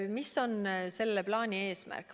Mis on meie plaani eesmärk?